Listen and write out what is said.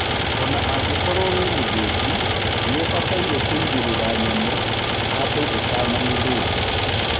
Ona-angikorwo wĩmũthinji, nĩũbataire kũigĩrĩra nyamũhandũũtanamithĩnja.